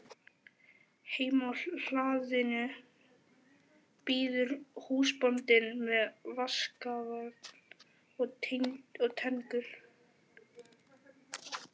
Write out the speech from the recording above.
Heima á hlaðinu bíður húsbóndinn með vaskafat og tengur.